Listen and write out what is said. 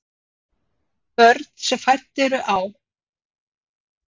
Börn sem fædd eru á